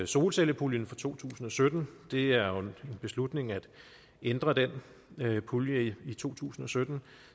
solcellepuljen for to tusind og sytten det er en beslutning at ændre den pulje i to tusind og sytten